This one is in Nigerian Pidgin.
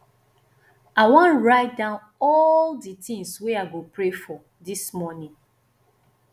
i wan write down all di tins wey i go pray for dis morning